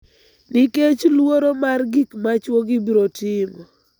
nikech luoro mar gik ma chwogi biro timo,